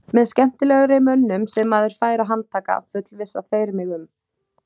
Með skemmtilegri mönnum sem maður fær að handtaka, fullvissa þeir mig um.